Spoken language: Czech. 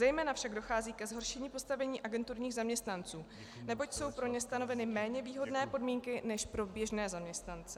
Zejména však dochází ke zhoršení postavení agenturních zaměstnanců, neboť jsou pro ně stanoveny méně výhodné podmínky než pro běžné zaměstnance.